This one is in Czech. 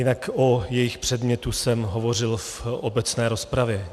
Jinak o jejich předmětu jsem hovořil v obecné rozpravě.